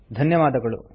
ಧನ್ಯವಾದಗಳು